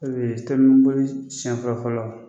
O kun ye telimaniboli sɛn fɔlɔ Fɔlɔ.